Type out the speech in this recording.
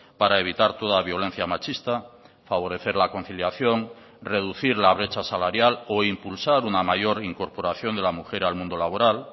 para evitar toda violencia machista favorecer la conciliación reducir la brecha salarial o impulsar una mayor incorporación de la mujer al mundo laboral